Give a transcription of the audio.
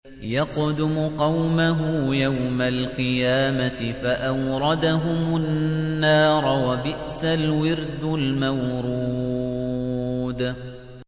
يَقْدُمُ قَوْمَهُ يَوْمَ الْقِيَامَةِ فَأَوْرَدَهُمُ النَّارَ ۖ وَبِئْسَ الْوِرْدُ الْمَوْرُودُ